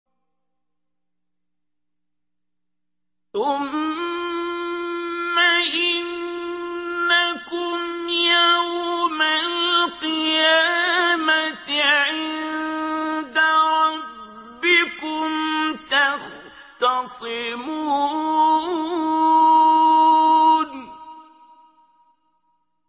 ثُمَّ إِنَّكُمْ يَوْمَ الْقِيَامَةِ عِندَ رَبِّكُمْ تَخْتَصِمُونَ